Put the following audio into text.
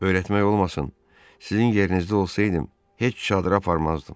Öyrətmək olmasın, sizin yerinizdə olsaydım, heç çadıra aparmazdım.